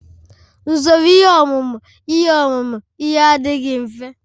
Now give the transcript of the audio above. Usoro ihe ọmụmụ ihe ọmụmụ ihe adịghị mfe